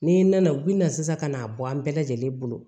N'i nana u bina sisan ka n'a bɔ an bɛɛ lajɛlen bolo